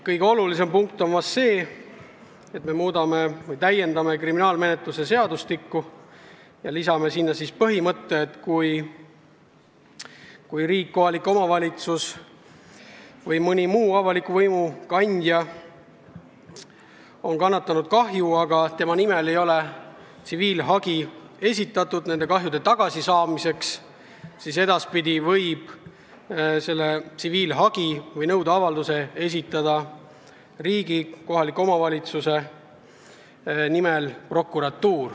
Kõige olulisem punkt on vahest see, et me soovime täiendada kriminaalmenetluse seadustikku ja lisada sinna põhimõtte, et kui riik, kohalik omavalitsus või mõni muu avaliku võimu kandja on kannatanud kahju, aga tema nimel ei ole esitatud tsiviilhagi kahju hüvitamiseks, siis edaspidi võib selle tsiviilhagi või nõudeavalduse esitada riigi või kohaliku omavalitsuse nimel prokuratuur.